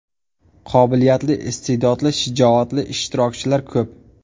Qobiliyatli, iste’dodli, shijoatli ishtirokchilar ko‘p.